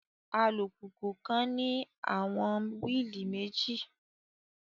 Alupupu kan ni awọn willi meji